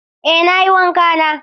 Eh nayi wanka na.